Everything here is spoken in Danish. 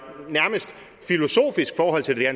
nærmest filosofisk forhold til det